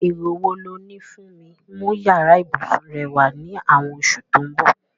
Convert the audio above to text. Èrò wo loní fun mi mú yàrá ibùsùn rẹwà ni àwon osù to n bò